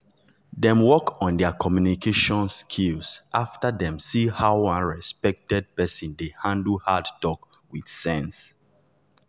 dem work on their communication skill after dem see how one respected person dey handle hard talk with sense.